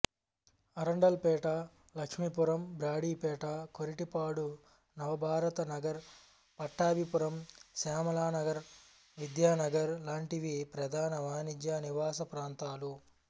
అరండలపేట లక్ష్మీపురం బ్రాడీపేట కొరిటపాడు నవభారత నగర్ పట్టాభిపురం శ్యామలానగర్ విద్యానగర్ లాంటివి ప్రధాన వాణిజ్య నివాస ప్రాంతాలు